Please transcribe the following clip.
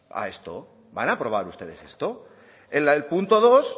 a esto van a aprobar ustedes esto en el punto dos